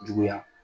Juguya